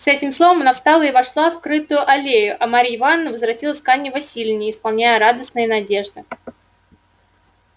с этим словом она встала и вошла в крытую аллею а марья ивановна возвратилась к анне власьевне исполненная радостной надежды